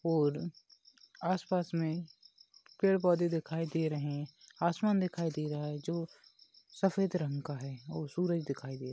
और आस-पास मे पेड़ पौधे दिखाई दे रहे आसमान दिखाई दे रहा है जो सफ़ेद रंग का है और सूरज दिखाई दे--